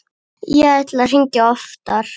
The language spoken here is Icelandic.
Ég ætlaði að hringja oftar.